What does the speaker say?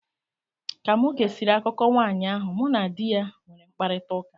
Ka mụ gesịrị akụkọ nwanyị ahụ, mụ na di ya nwere mkparịtaụka.